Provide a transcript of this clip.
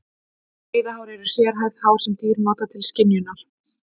Veiðihár eru sérhæfð hár sem dýr nota til skynjunar.